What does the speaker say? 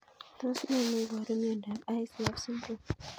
Tos nee neiparu miondop ICF syndrome?